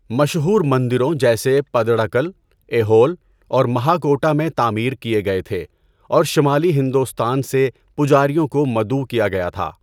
مشہور مندروں جیسے پتڈاکل، ایہول اور مہاکوٹہ میں تعمیر کیے گئے تھے اور شمالی ہندوستان سے پجاریوں کو مدعو کیا گیا تھا۔